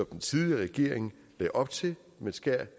den tidligere regering lagde op til man skærer